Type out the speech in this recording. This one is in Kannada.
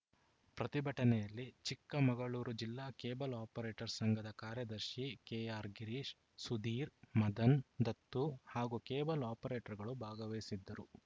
ಪ್ರತಿಭಟನೆಯಲ್ಲಿ ಚಿಕ್ಕಮಗಳೂರು ಜಿಲ್ಲಾ ಕೇಬಲ್‌ ಆಪರೇಟರ್ಸ ಸಂಘದ ಕಾರ್ಯದರ್ಶಿ ಕೆಆರ್‌ ಗಿರೀಶ್‌ ಸುಧೀರ್‌ ಮದನ್‌ ದತ್ತು ಹಾಗೂ ಕೇಬಲ್‌ ಆಪರೇಟರ್‌ಗಳು ಭಾಗವಹಿಸಿದ್ದರು